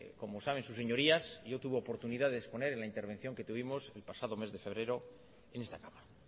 como saben sus señorías yo tuve oportunidad de exponer en la intervención que tuvimos el pasado mes de febrero en esta cámara